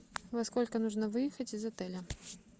во сколько нужно выехать из отеля